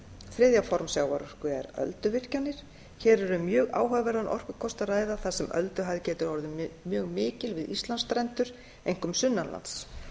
þriðja form sjávarorku er ölduvirkjanir hér er um mjög áhugaverðan orkukost að ræða þar sem ölduhæð getur orðið mjög mikil við íslandsstrendur einkum sunnanlands